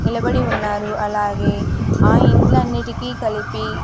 నిలబడి ఉన్నారు అలాగే ఆ ఇండ్లన్నిటికీ కలిపి.